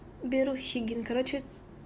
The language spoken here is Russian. берущий блин короче